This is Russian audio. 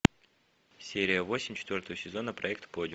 серия восемь четвертого сезона проект подиум